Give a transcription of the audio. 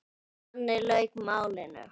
Þannig lauk málinu.